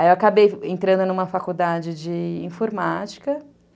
Aí eu acabei entrando numa faculdade de informática, né?